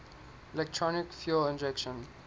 electronic fuel injection